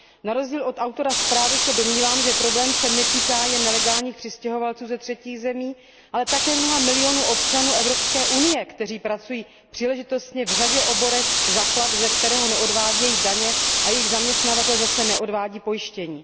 Na rozdíl od autora zprávy se domnívám, že problém se netýká jen nelegálních přistěhovalců ze třetích zemí, ale také mnoha milionů občanů Evropské unie, kteří pracují příležitostně v řadě oborů za plat, ze kterého neodvádějí daně, a jejich zaměstnavatel zase neodvádí pojištění.